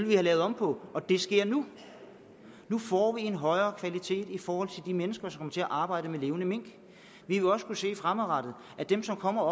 vi have lavet om på og det sker nu nu får vi en højere kvalitet i forhold til de mennesker som kommer til at arbejde med levende mink vi vil også kunne se fremadrettet at dem som kommer